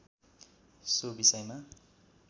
so विषयमा